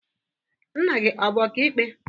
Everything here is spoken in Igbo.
Nna gị ọ bụ ọka ikpe?